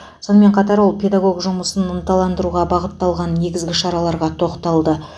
сонымен қатар ол педагог жұмысын ынталандыруға бағытталған негізгі шараларға тоқталды